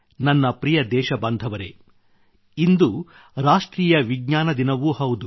ನನ್ನ ಪ್ರಿಯ ದೇಶಬಾಂಧವರೆ ಇಂದು ರಾಷ್ಟ್ರೀಯ ವಿಜ್ಞಾನ ದಿನವೂ ಹೌದು